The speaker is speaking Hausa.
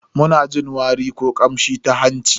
Muna jin wari ko kamshi ta hanci.